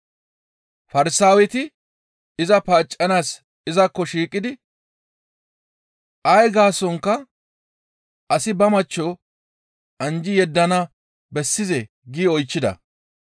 Farsaaweti iza paaccanaas izakko shiiqidi ay gaasonkka, «Asi ba machcho anjji yeddana bessizee?» gi oychchida.